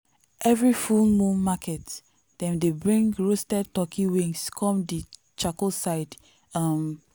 every full moon market dem dey bring roasted turkey wings come the charcoal side. um